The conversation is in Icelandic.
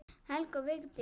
Helga og Vigdís.